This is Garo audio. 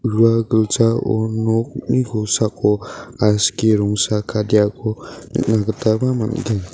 ua giljao nokni kosako aski rongara kadeako nikna gitaba man·gen.